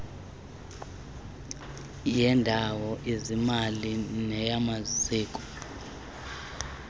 yendawo izimali neyamaziko